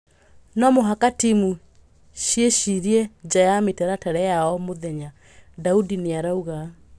"No mũhaka timu ciĩcirie nja ya mĩtaratara ya o mũthenya," Daudi nĩarauga.